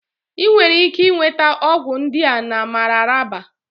Ị nwere ike nweta ọgwụ ndị a na Mararaba